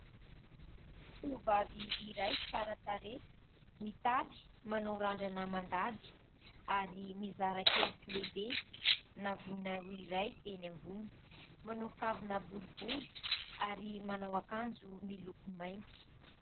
Tovovavy iray tsara tarehy : mitaly, manao randrana mandady ary mizara kely sy lehibe navonany iray eny ambony, manao kavina boribory ary manao akanjo miloko mainty.